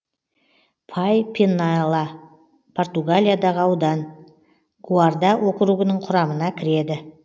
пай пенела португалиядағы аудан гуарда округінің құрамына кіреді